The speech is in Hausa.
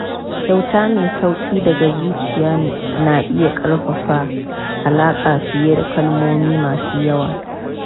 Kyauta mai sauƙi daga zuciya na iya ƙarfafa alaƙa fiye da kalmomi masu yawa.